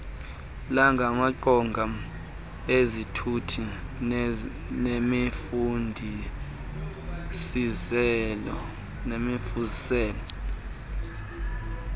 lamaqonga ezithuthi nemifuziselo